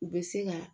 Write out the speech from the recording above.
U bɛ se ka